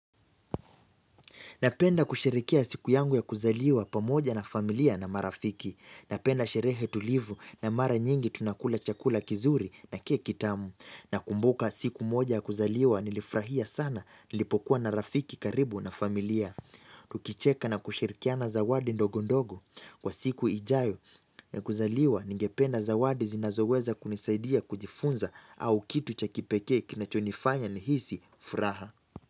Napenda kushirikia siku yangu ya kuzaliwa pamoja na familia na marafiki. Napenda sherehe tulivu na mara nyingi tunakula chakula kizuri na keki tamu. Na kumbuka siku moja ya kuzaliwa nilifurahia sana nilipokuwa na rafiki karibu na familia. Tukicheka na kushirikiana zawadi ndogodogo kwa siku ijayo. Na kuzaliwa ningependa zawadi zinazoweza kunisaidia kujifunza au kitu cha kipekee kinachonifanya nihisi furaha.